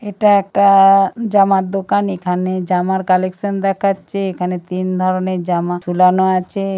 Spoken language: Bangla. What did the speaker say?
এটা একটা আআ জামার দোকান এখানে জামার কালেকশন দেখাচ্ছে এখানে তিন ধরনের জামা ঝুলানো আছে।